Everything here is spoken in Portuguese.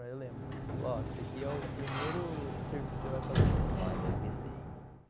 Mas eu lembro. Falou, ó, esse aqui é o primeiro serviço que você vai fazer e você nunca mais vai esquecer.